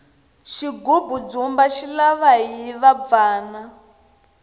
xigubu ndzumba xi lava hiva bvana